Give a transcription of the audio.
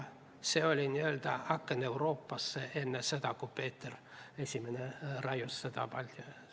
See oli n-ö aken Euroopasse enne seda, kui Peeter I selle raius.